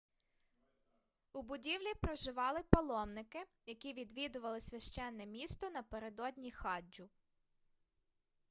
у будівлі проживали паломники які відвідували священне місто напередодні хаджу